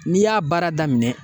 N'i y'a baara daminɛ.